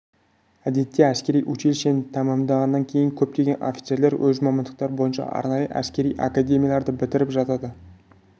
әдетте әскери училищені тәмамдағаннан кейін көптеген офицерлер өз мамандықтары бойынша арнайы әскери академияларды бітіріп жатады